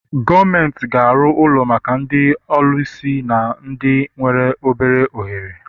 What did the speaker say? Gọọmenti ga-arụ ụlọ maka ndị ọlụsị na ndị nwere obere ohere.